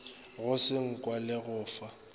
go senkwa le go fa